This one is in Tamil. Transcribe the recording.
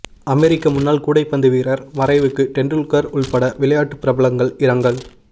அமெரிக்க முன்னாள் கூடைப்பந்து வீரர் மறைவுக்கு தெண்டுல்கர் உள்பட விளையாட்டு பிரபலங்கள் இரங்கல்